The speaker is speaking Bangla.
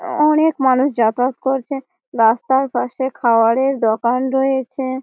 অনেক মানুষ যাতায়াত করছে। রাস্তার পাশে খাবারের দোকান রয়েছে।